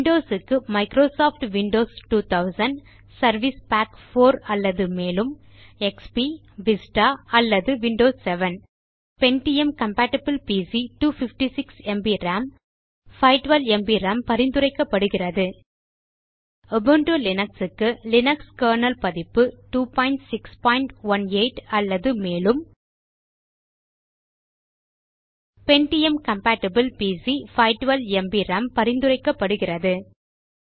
Windows க்கு Microsoft Windows 2000 service pack 4 அல்லது மேலும் எக்ஸ்பி விஸ்டா அல்லது Windows 7 pentium compatible PC 256 MB RAM 512 MB RAM பரிந்துரைக்கப்படுகிறது உபுண்டு லினக்ஸ் க்கு லினக்ஸ் கெர்னல் பதிப்பு 2618 அல்லது மேலும் pentium கம்பேட்டிபிள் பிசி 512ம்ப் ராம் பரிந்துரைக்கப்படுகிறது